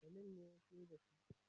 Salim ne siyar da su.